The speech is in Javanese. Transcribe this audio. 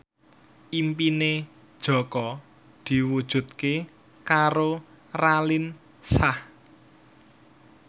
impine Jaka diwujudke karo Raline Shah